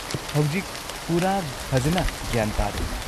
ꯍꯧꯖꯤꯛ ꯄꯨꯔꯥ ꯐꯖꯟꯅ ꯒ꯭ꯌꯥꯟ ꯇꯥꯔꯦ꯫